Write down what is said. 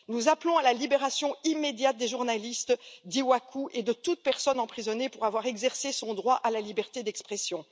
Nous appelons à la libération immédiate des journalistes d'Iwacu et de toute personne emprisonnée pour avoir exercé son droit à la liberté d'expression.